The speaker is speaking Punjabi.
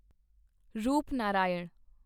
ਰੂਪਨਾਰਾਇਣ